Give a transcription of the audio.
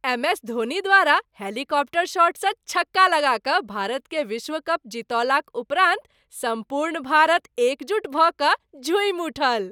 MS Dhoni द्वारा helicopter शॉटसँ छक्का लगा कऽ भारतकेँ विश्व कप जितौलाक उपरान्त सम्पूर्ण भारत एकजुट भऽ कऽ झूमि उठल।